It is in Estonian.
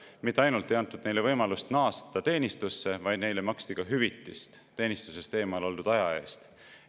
Mitte ainult ei antud neile võimalust naasta teenistusse, vaid neile maksti hüvitist teenistusest eemal oldud aja eest.